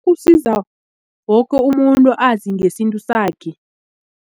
Kusiza woke umuntu azi ngesintu sakhe.